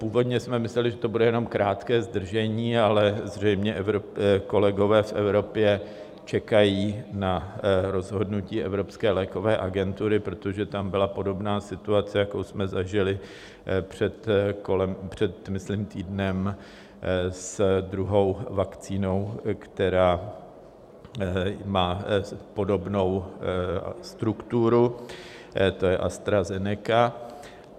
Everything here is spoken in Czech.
Původně jsme mysleli, že to bude jenom krátké zdržení, ale zřejmě kolegové v Evropě čekají na rozhodnutí Evropské lékové agentury, protože tam byla podobná situace, jakou jsme zažili před myslím týdnem s druhou vakcínou, která má podobnou strukturu, to je AstraZeneca.